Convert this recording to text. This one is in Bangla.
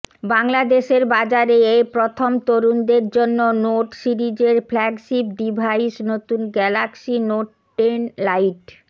বাংলাদেশের বাজারে এ প্রথম তরুণদের জন্য নোট সিরিজের ফ্ল্যাগশিপ ডিভাইস নতুন গ্যালাক্সি নোট টেন লাইট